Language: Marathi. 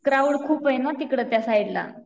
क्राउड खूप आहे ना तिकडे त्यसाईडला.